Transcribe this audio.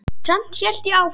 Samt hélt ég áfram.